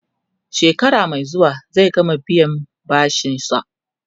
shekara Mai zuwa zai gama biyan bashinsa